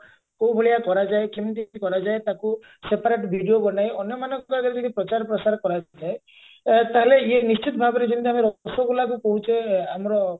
କଉଭଳିଆ କରାଯାଏ କେମିତି କରାଯାଏ ତାକୁ separate video ବନାଇ ଅନ୍ୟମାନଙ୍କ ପାଖରେ ଯଦି ପ୍ରଚାର ପ୍ରସାର କରାଯାଏ ଆ ତାହେଲେ ଇଏ ନିଶ୍ଚିନ୍ତ ଭାବରେ ଯେମତି ଆମେ ରସଗୋଲାକୁ କହୁଛେ ଆମର